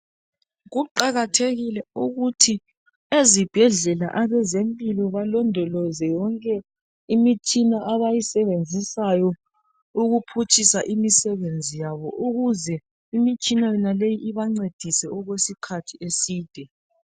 Kuqakathekile ukuthi ezibhedlela abezempilo balondoloze yonke imitshina abayisebenzisayo ukuphutshisa imisebenzi yabo ukuze imitshina yonaleyi ibancedise okwesikhathi eside